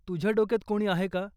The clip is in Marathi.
तुझ्या डोक्यात कोणी आहे का ?